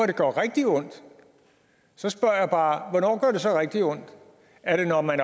det gør rigtig ondt så spørger jeg bare hvornår gør det så rigtig ondt er det når man